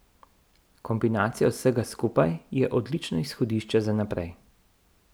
Kombinacija vsega skupaj je odlično izhodišče za naprej.